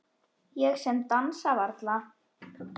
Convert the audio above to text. Ég sem dansa varla.